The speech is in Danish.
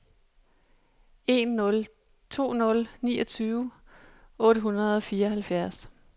en nul to nul niogtyve otte hundrede og fireoghalvfjerds